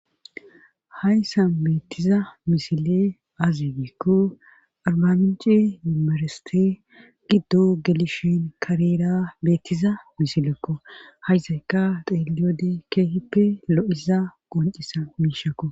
Hayssa beettiza misile azi giikko arbamici mimareste giddo gelishin kareera beettiza misilekko haysayka xeeliyode keehippe lo7iza qoncisa miishakko.